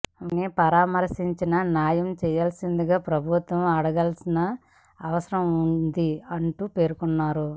వారిని పరామర్శించి న్యాయం చేయాల్సిందిగా ప్రభుత్వాన్ని అడగాల్సిన అవసరం ఉంది అంటూ పేర్కొన్నారు